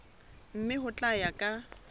mme ho tla ya ka